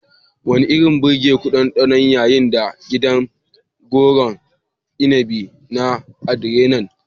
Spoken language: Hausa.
Wani irin birgeku ɗanɗanon yayi na gidan gonar inabi na "Adrianna"?